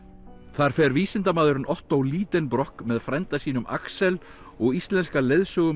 þar fer vísindamaðurinn Otto Lidenbrock með frænda sínum Axel og íslenska